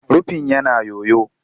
Rufin yana yoyo